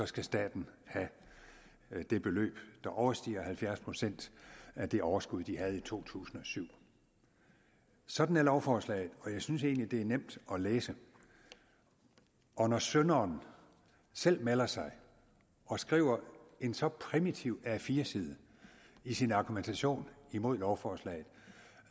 skal staten have det beløb der overstiger halvfjerds procent af det overskud de havde i to tusind og syv sådan er lovforslaget og jeg synes egentlig det er nemt at læse og når synderen selv melder sig og skriver en så primitiv a4 side i sin argumentation mod lovforslaget